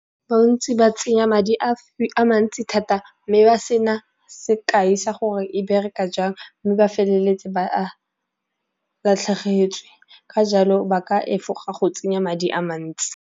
Bontsi ba tsenya madi a mantsi thata mme ba sena sekae sa gore e bereka jang, mme ba feleletse ba a latlhegetswe, ka jalo ba ka efoga go tsenya madi a mantsi.